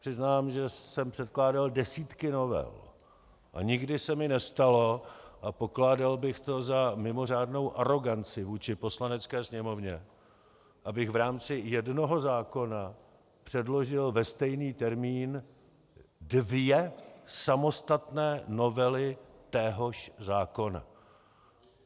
Přiznám, že jsem předkládal desítky novel a nikdy se mi nestalo a pokládal bych to za mimořádnou aroganci vůči Poslanecké sněmovně, abych v rámci jednoho zákona předložil ve stejný termín dvě samostatné novely téhož zákona.